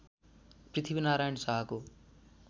पृथ्वीनारायण शाहको